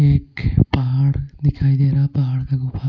एक पहाड़ दिखाई दे रहा पहाड़ का गुफा--